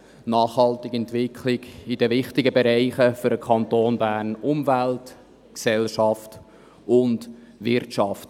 Es geht um eine nachhaltige Entwicklung in den Bereichen, die für den Kanton Bern wichtig sind: Umwelt, Gesellschaft und Wirtschaft.